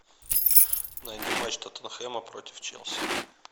найди матч тоттенхэма против челси